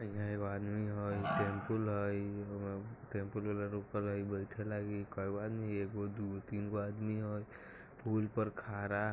एजा एगो आदमी हई टेंपू एगो दुगो तीन गो आदमी हई पुल पर खड़ा --